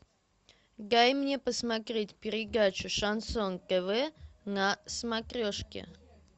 дай мне посмотреть передачу шансон тв на смотрешке